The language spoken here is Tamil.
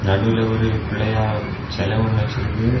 நடுல ஒரு புள்ளையார் சில ஒன்னு வச்சிருக்கு.